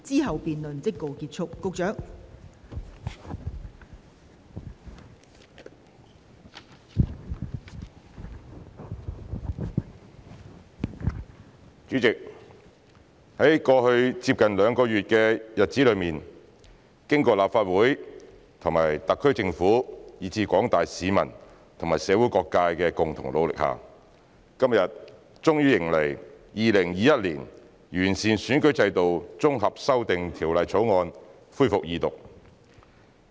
代理主席，在過去接近兩個月的日子裏，經過立法會和特區政府以至廣大市民和社會各界的共同努力下，今天終於迎來《2021年完善選舉制度條例草案》恢復二讀。